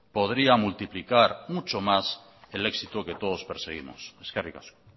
podría multiplicar mucho más el éxito que todos perseguimos eskerrik asko